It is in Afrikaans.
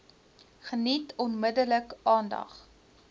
geniet onmiddellik aandag